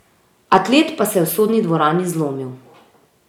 Atlet pa se je v sodni dvorani zlomil.